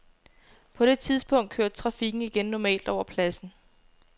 På det tidspunkt kørte trafikken igen normalt over pladsen.